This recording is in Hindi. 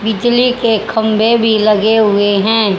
बिजली के खंभे भी लगे हुए हैं।